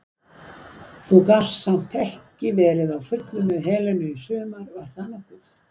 Þú gast samt ekki verið á fullu með Helenu í sumar var það nokkuð?